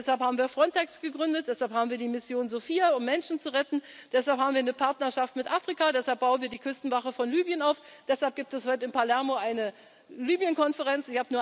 lernen. Und deshalb haben wir Frontex gegründet, deshalb haben wir die Mission Sophia, um Menschen zu retten, deshalb haben wir eine Partnerschaft mit Afrika, deshalb bauen wir die Küstenwache von Libyen auf, deshalb gibt es heute in Palermo eine Libyen Konferenz.